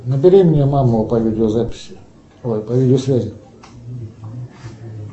набери мне маму по видеозаписи ой по видеосвязи